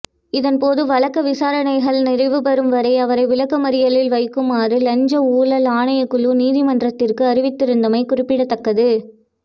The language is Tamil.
இதன்போது வழக்கு விசாரணைகள் நிறைவுபெறும் வரை அவரை விளக்கமறியலில் வைக்குமாறு இலஞ்ச ஊழல் ஆணைக்குழு நீதிமன்றத்திற்கு அறிவித்திருந்தமை குறிப்பிடத்தக்கது